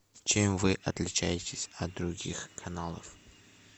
чем вы отличаетесь от других каналов